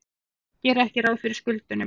Gera ekki ráð fyrir skuldunum